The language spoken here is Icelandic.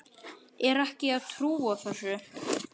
Er ekki að trúa þessu.